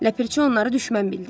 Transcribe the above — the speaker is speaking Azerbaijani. Ləpirçi onları düşmən bildi.